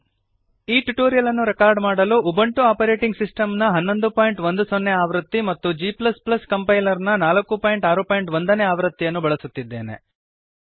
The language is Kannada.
ಈ ಟ್ಯುಟೋರಿಯಲ್ ಅನ್ನು ರೆಕಾರ್ಡ್ ಮಾಡಲುUbuntuಆಪರೇಟಿಂಗ್ ಸಿಸ್ಟಮ್ ನ 1110 ಆವೃತ್ತಿ ಮತ್ತು g ಕಂಪೈಲರ್ ನ 461 ನೇ ಆವೃತ್ತಿಯನ್ನು ಬಳಸುತ್ತಿದ್ದೇನೆ